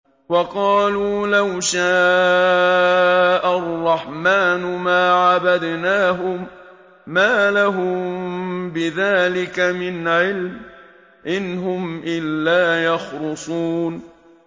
وَقَالُوا لَوْ شَاءَ الرَّحْمَٰنُ مَا عَبَدْنَاهُم ۗ مَّا لَهُم بِذَٰلِكَ مِنْ عِلْمٍ ۖ إِنْ هُمْ إِلَّا يَخْرُصُونَ